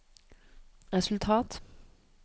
resultat